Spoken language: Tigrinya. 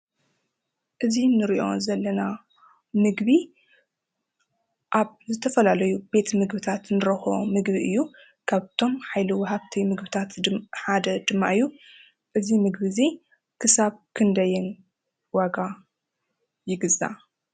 እዚ ንሪኦ ዘለና ምግቢ ኣብ ዝተፈላለዩ ቤት ምግብታት ንረኽቦ ምግቢ እዩ፡፡ ካብቶም ሓይሊ ወሃብቲ ምግብታት ድማ ሓደ ድማ እዩ፡፡ እዚ ምግቢ እዚ ክሳብ ክንደይን ዋጋ ይግዛእ?